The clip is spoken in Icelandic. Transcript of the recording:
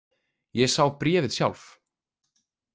Ég sá bréfið sjálf.